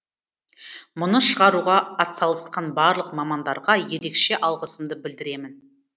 мұны шығаруға атсалысқан барлық мамандарға ерекше алғысымды білдіремін